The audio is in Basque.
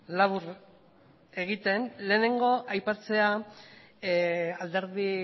labur egiten lehenengo aipatzea alderdi